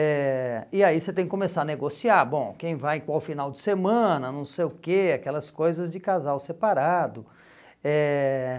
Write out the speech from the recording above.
Eh e aí você tem que começar a negociar, bom, quem vai, qual final de semana, não sei o que, aquelas coisas de casal separado. Eh